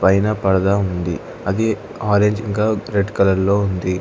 పైన పరదా ఉంది అది ఆరెంజ్ ఇంకా రెడ్ కలర్ లో ఉంది.